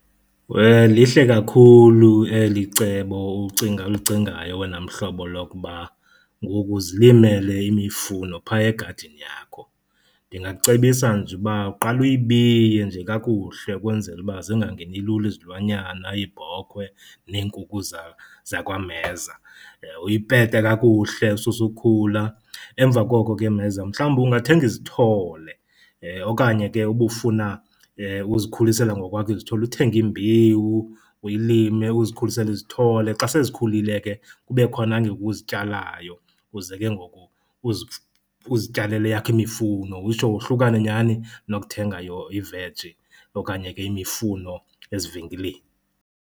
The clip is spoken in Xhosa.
Lihle kakhulu eli cebo ucinga, ulicingayo wena mhlobo lokuba ngoku uzilimele imifuno pha egadini yakho. Ndingakucebisa nje uba uqale uyibiye nje kakuhle ukwenzela uba zingangeni lula izilwanyana, iibhokwe neenkukhu zakwameza. Uyipete kakuhle, ususe ukhula, emva koko ke mheza mhlawumbi ungathenga izithole okanye ke uba ufuna uzikhulisela ngokwakho izithole uthenge imbewu uyilime uzikhulisele izithole. Xa sezikhulile ke kube khona uzityalayo uze ke ngoku uzityalele eyakho imifuno utsho wohlukane nyani nokuthenga iveji okanye ke imifuno ezivenkileni.